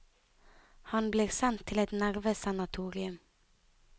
Han blir sendt til et nervesanatorium.